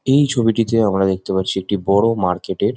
এই ছবিটিতে আমরা দেখতে পারছি একটি বড়ো মার্কেট -এর --